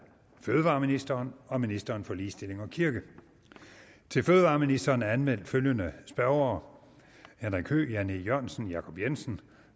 fødevareministeren og ministeren for ligestilling og kirke til fødevareministeren er anmeldt følgende spørgere henrik høegh jan e jørgensen jacob jensen